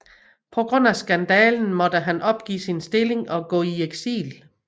På grund af skandalen måtte han opgive sin stilling og gå i eksil